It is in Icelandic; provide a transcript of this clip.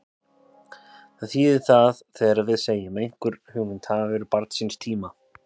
Hvað þýðir það þegar við segjum að einhver hugmynd hafi verið barn síns tíma?